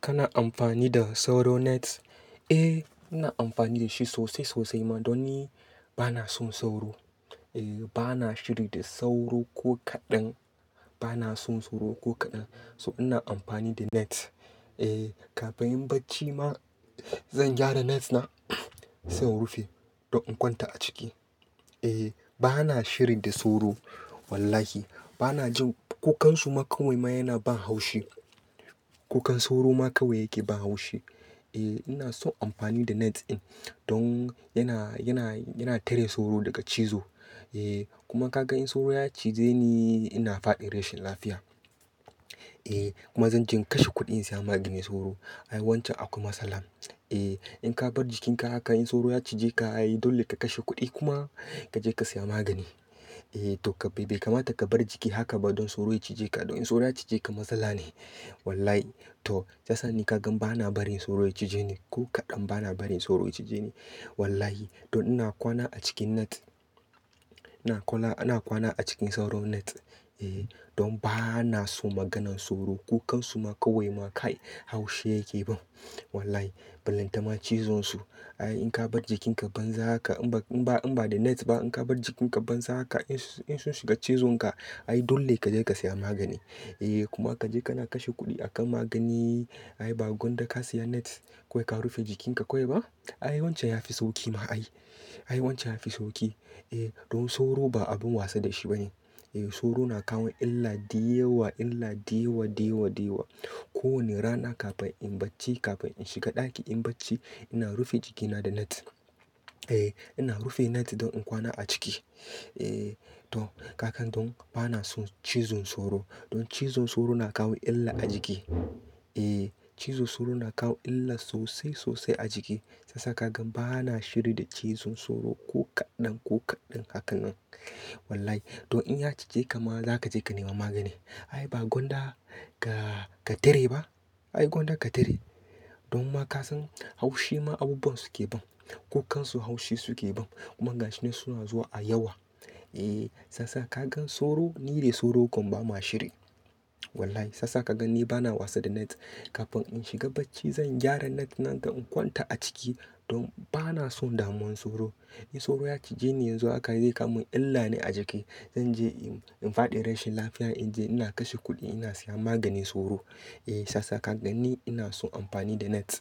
Kana amfani da sauro net? Eh, ina amfani da shi sosai sosai ma don ni bana son sauro. Eh bana shiri da sauro ko kaɗan. Bana son sauro ko kaɗan. So ina amfani da net. Eh kafin bacci ma zan gyara net na zan rufe don in kwanta a ciki. Eh bana shiri da sauro. Wallahi bana jin kukan su ma kawai ma yana ban haushi. Kukan sauro ma kawai yake ban haushi. Eh ina son amfani da net in don yana, yana, yana tare sauro daga cizo. Eh kuma ka ga in sauro ya cize ni, ina faɗi rashin lafiya. Eh kuma zan je in kashe kuɗi in saya maganin sauro. Ai wancan akwai matsala. Eh in ka bar jikin ka haka in sauro ya cije ka ai dole ka kashe kuɗi kuma ka je ka siya magani. Eh to kai bai kamata ka bar jiki haka ba don sauro ya cije ka. Don in sauro ya cije ka matsala ne. Wallahi to shi yasa ni ka gan bana barin sauro ya cije ni. Ko kaɗan bana barin sauro ya cije ni. Wallahi don ina kwana a cikin net. Ina kwana, ina kwana a cikin sauro net. Eeh don bana so maganan sauro. Kukan su ma kawai ma kai haushi yake ba. Wallahi. Bulantama cizon su. Ai in ka bar jikin ka banza haka in ba, in ba da net ba in ka bar jikin ka banza haka in, in sun shiga cizon ka ai dole ka je ka siya magani. Eh kuma ka je kana kashe kuɗi a kan magani. Ai ba gonda ka siya net kawai ka rufe jikin ka kawai ba? Ai wancan ya fi sauki ma ai. Ai wancan ya fi sauki. Eh don sauro ba abun wasa da shi ba ne. Eh sauro na kawo illa diyewa, illa diyewa, diyewa, diyewa. Ko wane rana kafin in bacci, kafin in shiga ɗaki in bacci ina rufe jiki na da net. Eh ina rufe net don in kwana a ciki. Eh to ka kan don bana so cizon sauro. Don cizon sauro na kawo illa a jiki. Eeh cizon sauro na kawo illa sosai sosai a jiki. Shi yasa ka gan bana shiri da cizon sauro ko kaɗan, ko kaɗan hakan nan. Wallahi to in ya cije ka ma za ka je ka nema magani. Ai ba gonda ka, ka tare ba? Ai gonda ka tare. Don ma ka san haushi ma abubuwan su ke ban. Kukan su haushi su ke ban. Kuma gashin nan suna zuwa a yawa. Eeh sasa ka gan sauro, ni dai sauro gwam ba ma shiri. Wallahi sasa ka gan ni bana wasa da net. Kafin in shiga bacci zan gyara net na don in kwanta a ciki. Don bana so damuwan sauro. In sauro ya cije ni yanzu haka zai kawo min illa ne a jiki. Zan je in, in faɗi rashin lafiya. In je ina kashe kuɗi ina siya maganin sauro. Eeh sasa ka gan ni ina son amfani da net.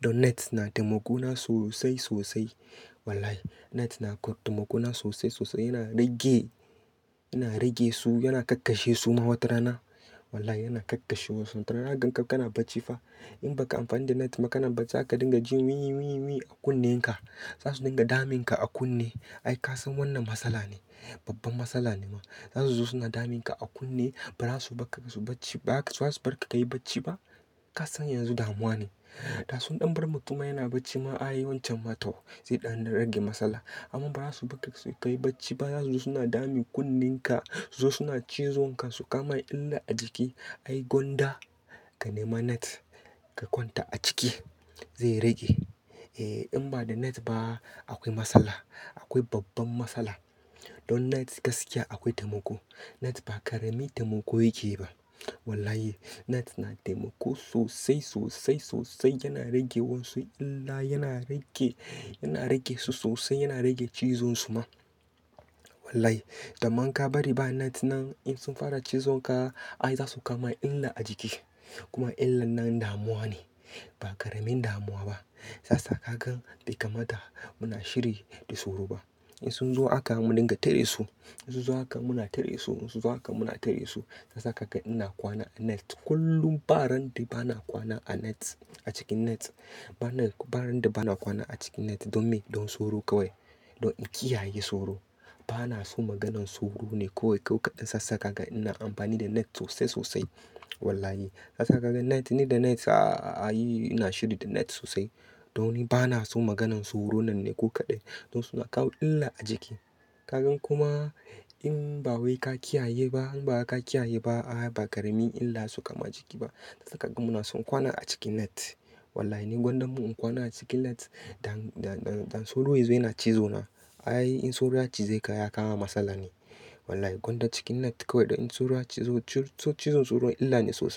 Don net na taimako na sosai sosai. Wallahi net na koyar da taimakona sosai sosai. Yana rage, yana rage su, yana kakkashe su ma wata rana. Wallahi yana kakkashe su wata rana. Kaga ka, ka na bacci fa. In ba ka amfani da net ma kana bacci haka dinga jin wii, wii, wii a kunnen ka. Za su dinga damun ka a kunne. Ai ka san wannan matsala ne. Babban matsala ne ma. Za su zo suna damun ka a kunne ba za su bar ka su bacci ba za su bar ka kayi bacci ba. Ka san yanzu damuwa ne. Da sun ɗan bar mutum yana bacci ma ai wancan ma tau. Sai ɗan na rage matsala. Amma ba za su bar ka kayi bacci ba. Za su zo suna dami kunnen ka. Su zo suna cizon ka su kama illa a jiki. Ai gonda ka nema net. Ka kwanta a ciki. Zai rage. Eeh in ba da net ba akwai matsala. Akwai babban matsala. Don net gaskiya akwai taimako. Net ba ƙarami taimako yake ba. Wallahi net na taimako sosai, sosai, sosai. Yana rage wasu illa. Yana rage, yana rage su sosai. Yana rage cizon su ma. Wallahi. Taman ka bari ba net nan in sun fara cizon ka ai za su kawo illa a jiki. Kuma illan nan damuwa ne. Ba ƙaramin damuwa ba. Sasa ka gan dai kamata muna shiri da sauro ba. In sun zo haka mu dinga tare su. In su zo haka muna tare su. In su zo haka muna tare su. Sasa ka gan ina kwana a net. Kullum. Ba ran da bana kwana a net. A cikin net. Ba na, ba ran da bana kwana a cikin net don me? Don sauro kawai. Don in kiyaye sauro. Bana so maganan sauro ne ko kaɗan. Sasa ka gan ina amfani da net sosai sosai. Wallahi. Sasa ka gan net ni da net saa ai ina shiri da net sosai. Don ni bana so maganan sauro nan ne ko kaɗan. Don suna kawo illa a jiki. Ka gan kuma in ba wai ka kiyaye ba in ba ka kiyaye ba ai ba ƙarami illa su kama jiki ba. Sasa ka gan muna son kwana a cikin net. Wallahi ni gonda mun in kwana a cikin net dan, dan, dan sauro ya zo yana cizo na ai in sauro ya cize ka ya kawo matsala ne. Wallahi gonda cikin net kawai don in sauro ya cizo, ci, ci, to cizon sauro illa ne sosai.